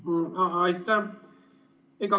Aitäh!